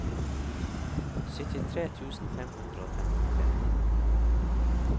syttitre tusen fem hundre og femtitre